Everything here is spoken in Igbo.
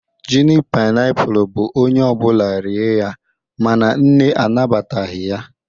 junic painiapulu bu onye obula rie ya, mana nne anabataghi ya